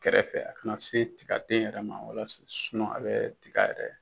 Kɛrɛfɛ a kana se tiga den yɛrɛ ma walasa a bɛ tiga yɛrɛ.